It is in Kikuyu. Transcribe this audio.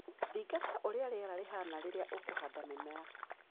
Thingata ũria rĩera rĩhana rĩria ũkuhanda mĩmera.